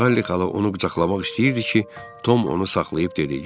Sayli xala onu qucaqlamaq istəyirdi ki, Tom onu saxlayıb dedi: